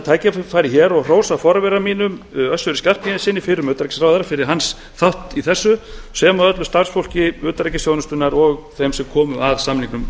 tækifæri hér og hrósa forvera mínum össuri skarphéðinssyni fyrrverandi utanríkisráðherra fyrir hans þátt í þessu sem og öllu starfsfólki utanríkisþjónustunnar og þeim sem komu að samningnum